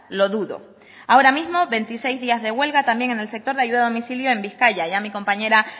lo dudo ahora mismo veintiséis días de huelga también en el sector de ayuda a domicilio en bizkaia ya mi compañera